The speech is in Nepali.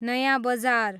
नयाँ बजार